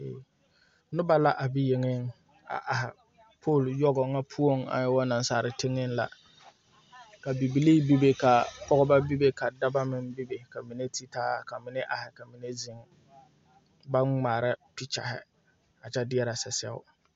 Nobɔ la be yeŋe a aihi poo yogo ŋa poɔŋ are teŋɛŋ la ka bibilii bebe ka pɔgebɔ bebe daba meŋ bebe ka mine taa ka mine aihi ka mine aihi baŋ ngmaara pikyɛhi a kyɛ deɛrɛ sasɛo.